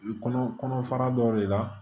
Kɔnɔ kɔnɔ fara dɔw de la